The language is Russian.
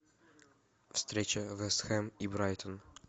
встреча вест хэм и брайтон